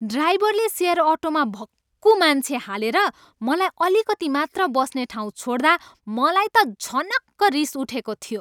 ड्राइभरले सेयर अटोमा भक्कु मान्छे हालेर मलाई अलिकती मात्र बस्ने ठाउँ छोड्दा मलाई त झनक्क रिस उठेको थियो।